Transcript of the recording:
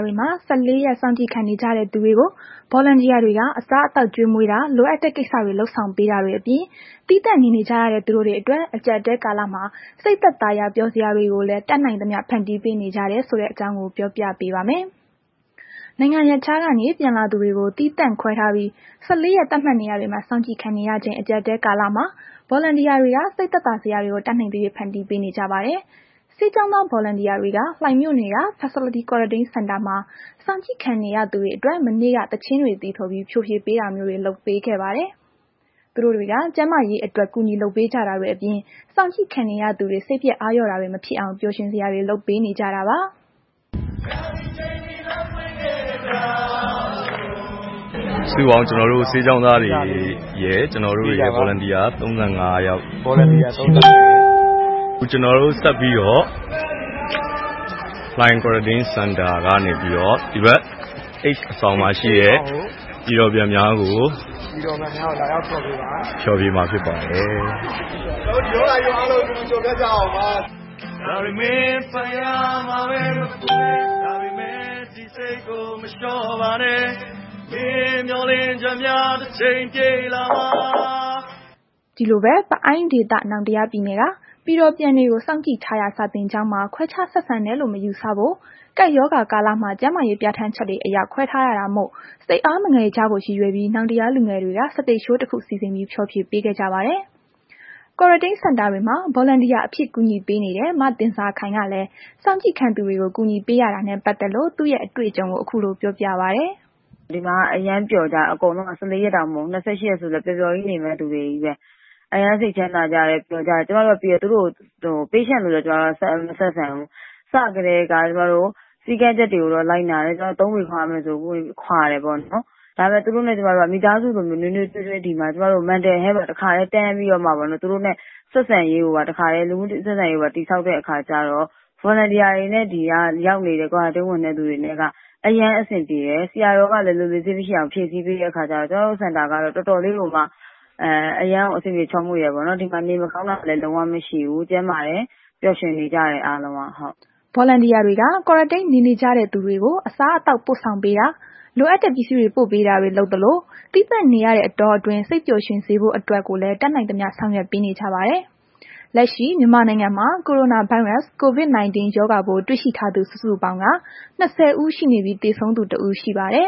တွေမှာ ၁၄ ရက် စောင့်ကြည့်ခံနေကြတဲ့သူတွေကို Volunteer တွေက အစားအသောက်ကျွေးမွေးတာ လိုအပ်တဲ့ ကိစ္စတွေ လုပ်ဆောင်ပေးတာတွေအပြင် သီးသန့်နေနေကြရတဲ့ သူတို့တွေအတွက် အကြပ်အတည်းကာလမှာ စိတ်သက်သာရာ ပျော်စရာတွေကိုလည်း တတ်နိုင်သ၍ ဖန်တီးပေးနေကြတယ်ဆိုတဲ့ အကြောင်းကို ဗွီအိုအေမြန်မာပိုင်း သတင်းထောက် မအိမ့်သန္တာထွန်းက ပြောပြပေးပါမယ်။ နိုင်ငံရပ်ခြားကနေ ပြန်လာသူတွေကို သီးသန့်ခွဲထားပြီး ၁၄ ရက် သတ်မှတ်နေရာတွေမှာ စောင့်ကြည့်ခံနေရချိန် အကြပ်အတည်းကာလမှာ Volunteer တွေက စိတ်သက်သာစရာတွေကို တတ်နိုင်သ၍ ဖန်တီးပေးနေကြပါတယ်။ ဆေးကျောင်းသား Volunteer တွေက လှိုင်မြို့နယ်က Facility Quarantine Center မှာ စောင့်ကြည့်ခံနေရသူတွေအတွက် မနေ့က သီချင်းတွေ သီဆိုပြီး ဖျော်ဖြေပေးတာမျိုးလုပ်ပေးခဲ့ပါတယ်။ သူတို့တွေက ကျန်းမာရေးအတွက် ကူညီလုပ်ပေးကြတာတွေအပြင် စောင့်ကြည့်ခံနေရသူတွေ စိတ်ပျက် အားလျော့တာတွေ မဖြစ်အောင် ပျော်ရွှင်စရာတွေ လုပ်ပေးနေကြတာပါ။ “စုစုပေါင်း ကျနော်တို့ ဆေးကျောင်းသားတွေရယ်။ Volunteer ၃၅ ယောက်ရယ်၊ ခုကျနော်တို့ ဆက်ပြီးတော့ လှိုင် Quarantine Center ကနေပြီးတော့ ဒီဘက် H အဆောင်မှာရှိတဲ့ ပြည်တော်ပြန်များကို ဖျော်ဖြေမှာဖြစ်ပါတယ်။ ကျနော်တို့ ဒီရောဂါကြီးကို အတူတူကျော်ဖြတ်ကြရအောင်ပါ။” ဒီလိုပဲ ပအိုင်းဒေသ နောင်တရားပြည်နယ်က ပြည်တော်ပြန်တွေကို စောင့်ကြည့်ထားရာ စာသင်ကျောင်းမှာ ခွဲခြားဆက်ဆံတယ်လို့ မယူဆဖို့ ကပ်ရောဂါကာလမှာ ကျန်းမာရေး ပြဌာန်းချက်တွေအရ ခွဲထားရတာမို့ စိတ်အားမငယ်ကြဖို့ ရည်ရွယ်ပြီး နောင်တရားလူငယ်တွေက စတိတ်ရှိုးတခု စီစဉ်ပြီး ဖျော်ဖြေပေးခဲ့ကြပါတယ်။ Quarantine Center တွေမှာ Volunteer အဖြစ် ကူညီပေးနေတဲ့ မသင်ဇာခိုင်ကလည်း စောင့်ကြည့်ခံသူတွေကို ကူညီးပေရတာနဲ့ ပတ်သက်လို့ သူ့ရဲ့ အတွေ့အကြုံကို ခုလို ပြောပြပါတယ်။ “ဒီမှာက အရမ်းပျော်ကြတယ်။ ဒီမှာ ၁၄ ရက်တောင် မဟုတ်ဘူး။ ၂၈ ရက်ဆိုလည်း ပျော်ပျော်ကြီးနေမယ့်လူတွေချည်းပဲ၊ အရမ်းစိတ်ချမ်းသာကြတယ်။ ပျော်ကြတယ်၊ လူနာလိုလည်း ကျမတို့ မဆက်ဆံဘူး။ စကတည်းက စည်းကမ်းချက်တွေကိုတော့ လိုက်နာတယ်။ ကျမတို့ ၃ ပေခွာရမယ်ဆို ခွာတယ်ပေါ့နှော်။ သူတို့နှင့် ကျမတို့က မိသားစုလို ဒီမှာ ရင်းရင်း နှီးနှီးနေတာ သူတိုနဲ့ ဆက်ဆံရေးကိုပါ တခါတည်း တည်ဆောက်တဲ့ အခါကျတော့ Volunteer တွေနဲ့ Quarantine ဝင်တဲ့သူတွေနဲ့က အရမ်းအဆင်ပြေတယ်။ ဆရာတော်ကလည်း လိုလေသေးမရှိအောင် ဖြည့်ဆည်းပေးတဲ့ခါကျတော့ အရမ်းကို အဆင်ပြေချောမွေ့တယ်။ ဒီမှာ နေမကောင်းတာတို့လည်း လုံးဝမရှိဘူး။ ကျန်းမာနေကြတယ်၊ ပျော်ရွှင်နေကြတယ် အားလုံးက။” Volunteer တွေက Quarantine နေနေကြတဲ့သူတွေကို အစားအသောက်ပို့ဆောင်ပေးတာ၊ လိုအပ်တဲ့ ပစ္စည်းတွေ ပို့ပေးတာတွေ လုပ်ပေးသလို သီးသန့်နေရတဲ အတောအတွင်းမှာ စိတ်ပျော်ရွှင်ဖို့အတွက်ကိုလည်း တတ်နိုင်သမျှ ဆောင်ရွက်ပေးနေကြပါတယ်။ လက်ရှိ မြန်မာနိုင်ငံမှာ ကိုရိုနာဗိုင်းရပ်စ် COVID-19 ရောဂါပိုးတွေ့ရှိထားသူ စုစုပေါင်းက ၂၀ ဦးရှိနေပြီး သေဆုံးသူ ၁ ဦး ရှိပါတယ်